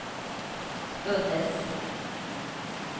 föddes